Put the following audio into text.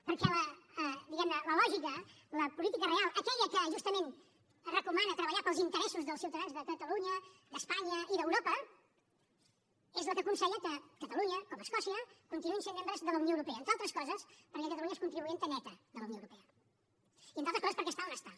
perquè diguem ne la lògica la política real aquella que justament recomana treballar per als interessos dels ciutadans de catalunya d’espanya i d’europa és la que aconsella que catalunya com escòcia continuïn sent membres de la unió europea entre altres coses perquè catalunya és contribuent neta de la unió europea i entre altres coses perquè està on està